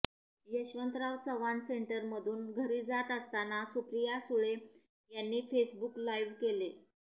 यशवंतराव चव्हाण सेंटरमधून घरी जात असताना सुप्रिया सुळे यांनी फेसबुक लाइव्ह केलं